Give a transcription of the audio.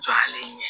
Jɔlen ye